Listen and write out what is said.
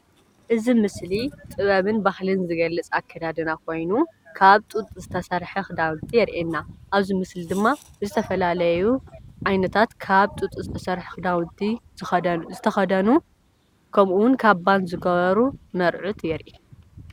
እዚ ምስሊ ጥበብን ባህልን ዝገልፅ ኣከዳድና ኮይኑ ካብ ጡጥ ዝተሰርሐ ክዳውንቲ የረእየና። ኣብዚ ምስሊ እዚ ድማ ብ ዝተፈላለዩ ዓይነታት ካብ ጡጥ ዝተሰርሐ ክዳውንቲ ዝተኸደኑ ከምኡ እውን ካባን ዝገበሩ መርዑት የርኢ።